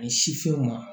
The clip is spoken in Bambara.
Ani sifinw ma